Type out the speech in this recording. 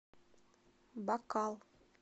бакал